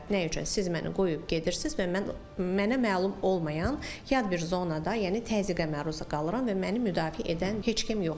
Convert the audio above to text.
Nə üçün siz məni qoyub gedirsiz və mən mənə məlum olmayan yad bir zonada, yəni təzyiqə məruz qalıram və məni müdafiə edən heç kim yoxdur.